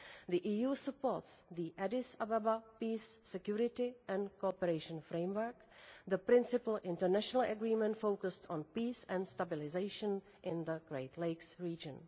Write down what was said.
The EU supports the Addis Ababa Peace Security and Cooperation Framework, the principal international agreement focused on peace and stabilisation in the Great Lakes region.